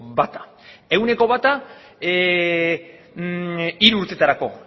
bata ehuneko bata hiru urteetarako